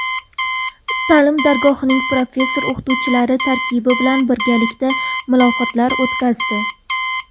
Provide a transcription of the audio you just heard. Ta’lim dargohining professor-o‘qituvchilar tarkibi bilan birgalikda muloqotlar o‘tkazdi.